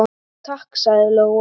Takk, sagði Lóa.